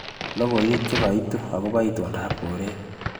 Logoiwek che kaitu akobo itondap koret.